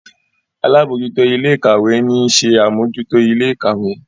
àlabòjuto Ilé-ìkàwé ní ń ṣe Amojuto Ilé-ìkàwé